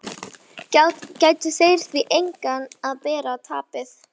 Ættu þeir því einnig að bera tapið.